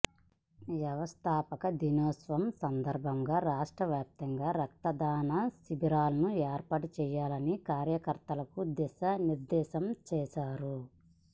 వ్యవస్థాపక దినోత్సవ సందర్భంగా రాష్ట్ర వ్యాప్తంగా రక్తదాన శిభిరాలను ఏర్పాటు చేయాలని కార్యకర్తలకు దిశా నిర్ధేశం చేశారు